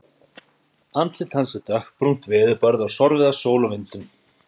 Andlit hans er dökkbrúnt, veðurbarið og sorfið af sól og vindum.